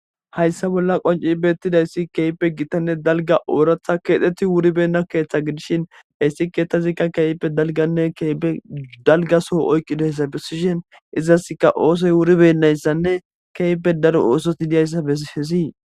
hayssa bolla qonci beettidayssi keyppe gittanne dalga ooratha keexxeti wuribenna keeththe gidishin hayssi keeththazikka keeyppe dalganne keype dalgaso oykqidayssa besishen izaska oosoy wuribendayssanne keeyppe daro ooso idiyayssa ehesii